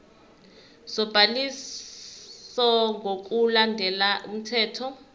sobhaliso ngokulandela umthetho